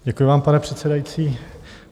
Děkuji vám, pane předsedající.